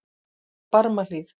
Barmahlíð